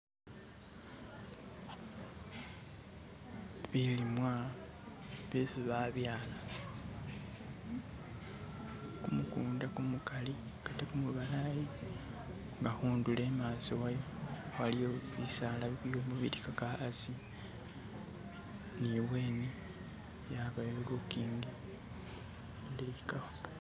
bilimwa byesi babyala kumukunda kumukali ate kumubalayi nga hundulo imaso wayo waliyo bisala bibyolaka asi ni ubweni yabayo lukingi luleyi kamba